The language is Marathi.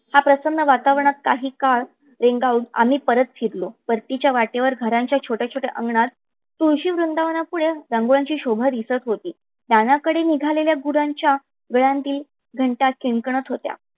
ह्या प्रसन्न वातावरणात काही काळ रेंगाळून काही काळ आम्ही परत फिरलो. परतीच्या वाटेवर घराच्या छोट्या छोट्या अंगनात तुळशी वृंदावना पुढे रागोळ्याची शोभा दिसत होती. रानाकडे निघालेल्या गुरांच्या गळ्यातील घंटा किंनकंत होत्या.